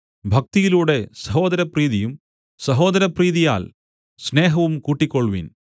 ഭക്തിയിലൂടെ സഹോദരപ്രീതിയും സഹോദരപ്രീതിയാൽ സ്നേഹവും കൂട്ടിക്കൊൾവിൻ